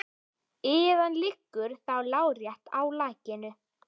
Iðan liggur þá lárétt í lakinu.